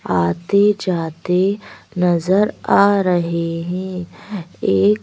आते जाते नजर आ रहे हैं एक--